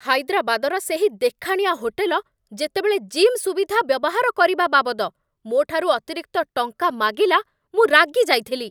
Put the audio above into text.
ହାଇଦ୍ରାବାଦର ସେହି ଦେଖାଣିଆ ହୋଟେଲ ଯେତେବେଳେ ଜିମ୍ ସୁବିଧା ବ୍ୟବହାର କରିବା ବାବଦ ମୋ'ଠାରୁ ଅତିରିକ୍ତ ଟଙ୍କା ମାଗିଲା ମୁଁ ରାଗିଯାଇଥିଲି।